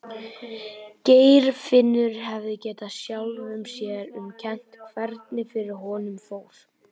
Geirfinnur hefði getað sjálfum sér um kennt hvernig fyrir honum fór.